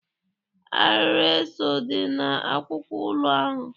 Arịrị eso dị n'akụkụ ụlọ ahụ.